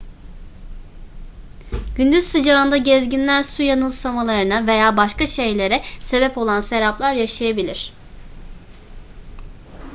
gündüz sıcağında gezginler su yanılsamalarına veya başka şeylere sebep olan seraplar yaşayabilir